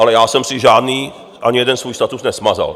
Ale já jsem si žádný, ani jeden svůj status, nesmazal.